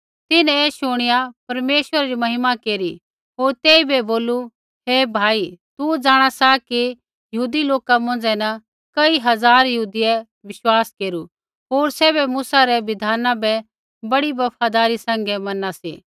तिन्हैं ऐ शुणिया परमेश्वरै री महिमा केरी होर तेइबै बोलू हे भाई तू जाँणा सा कि यहूदी लोका मौंझ़ै न कई हज़ार यहूदियै विश्वास केरू होर सैभै मूसा रै बिधाना बै बड़ी बफदारी सैंघै मना सी